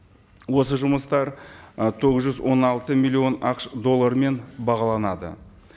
осы жұмыстар ы тоғыз жүз он алты миллион ақш долларымен бағаланды